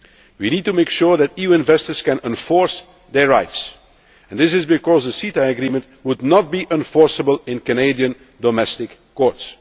legal system per se. We need to make sure that EU investors can enforce their rights because the CETA would not be enforceable in Canadian